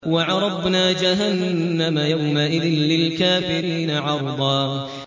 وَعَرَضْنَا جَهَنَّمَ يَوْمَئِذٍ لِّلْكَافِرِينَ عَرْضًا